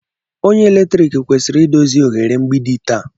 Onye eletrik kwesịrị idozi oghere mgbidi taa.